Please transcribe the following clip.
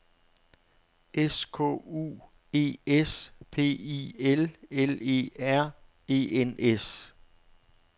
S K U E S P I L L E R E N S